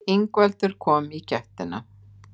Ingveldur kom í gættina.